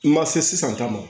I ma se sisan ta ma